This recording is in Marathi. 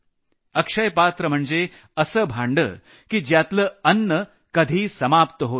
अक्षयपात्र म्हणजे असं भांडं की ज्यातलं अन्न कधी समाप्त होत नसे